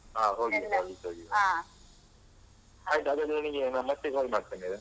ಹಾ ಹಾ, ಹೋಗಿ ಬರುವ ಒಟ್ಟಾಗಿ ಆಯ್ತು ಹಾಗಾದ್ರೆ, ನಾನ್ ನಿಂಗೆ ನಾನ್ ಮತ್ತೆ call ಮಾಡ್ತೇನೆ.